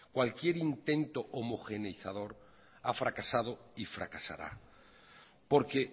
cualquier intento homogeneizador a fracasado y fracasará porque